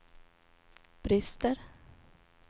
brister